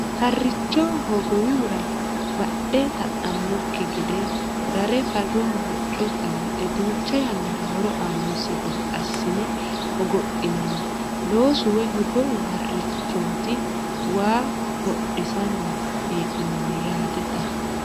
Haricho hogowihura badhe ta'anokki gede rare faroho hoco xanxe duucha yannara horo aanosi gede assine hogophinanni loosu woyi hogowu harichoti waa hodhisanni hee'nonni yaate xa.